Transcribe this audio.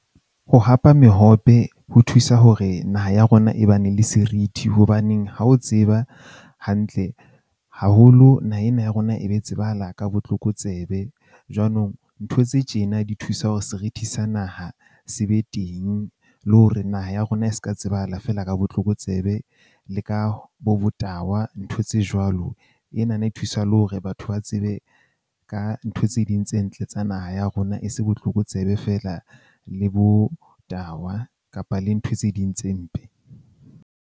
Ho hapa mehope, ho thusa hore naha ya rona e ba ne le serithi hobaneng ha o tseba hantle haholo naha ena ya rona e be tsebahala ka botlokotsebe. Jwanong, ntho tse tjena di thusa hore serithi sa naha se be teng le hore naha ya rona e ska tsebahala feela ka botlokotsebe le ka bo botahwa ntho tse jwalo. Ena na e thusa le hore batho ba tsebe ka ntho tse ding tse ntle tsa naha ya rona, e se botlokotsebe feela le botahwa kapa le ntho tse ding tse mpe.